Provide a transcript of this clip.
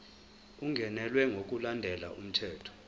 ungenelwe ngokulandela umthetho